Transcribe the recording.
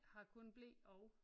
Har kun ble og